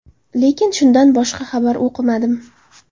Lekin, shundan boshqa xabar o‘qimadim.